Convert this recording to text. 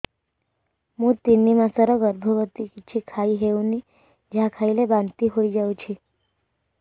ମୁଁ ତିନି ମାସର ଗର୍ଭବତୀ କିଛି ଖାଇ ହେଉନି ଯାହା ଖାଇଲେ ବାନ୍ତି ହୋଇଯାଉଛି